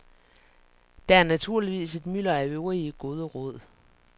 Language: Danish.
Der er naturligvis et mylder af øvrige gode råd.